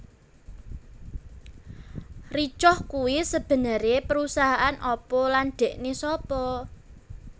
Ricoh kuwi sebenere perusahaan apa lan dhekne sapa